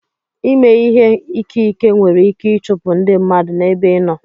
Ịmè ìhé ìké ìké nwèrè ìké ichụpụ ndị mmadụ n'ébé ị nọ